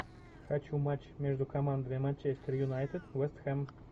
хочу матч между командами манчестер юнайтед вест хэм